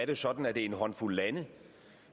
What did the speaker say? jo sådan at det er en håndfuld lande